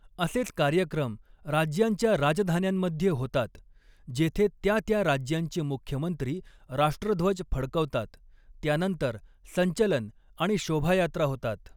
असेच कार्यक्रम राज्यांच्या राजधान्यांमध्ये होतात जेथे त्या त्या राज्यांचे मुख्यमंत्री राष्ट्रध्वज फडकवतात, त्यानंतर संचलन आणि शोभायात्रा होतात.